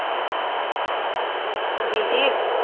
ਬੀਜੀ